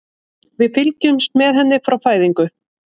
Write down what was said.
Við fylgjumst með henni frá fæðingu.